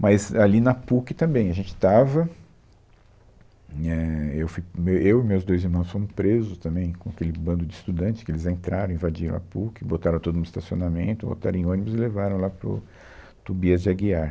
Mas ali na PUC também a gente estava... nhé, eu fui com, eu e os meus dois irmãos fomos presos também com aquele bando de estudantes que eles entraram, invadiram a PUC, botaram todo mundo no estacionamento, botaram em ônibus e levaram lá para o Tobias de Aguiar.